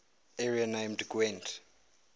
area named gwent